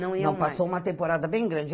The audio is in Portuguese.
Não iam mais. passou uma temporada bem grande.